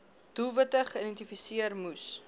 doelwitte geïdentifiseer moes